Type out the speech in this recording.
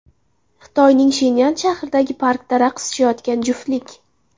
Xitoyning Shenyan shahridagi parkda raqs tushayotgan juftlik.